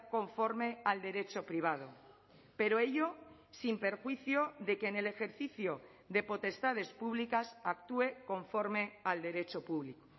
conforme al derecho privado pero ello sin perjuicio de que en el ejercicio de potestades públicas actúe conforme al derecho público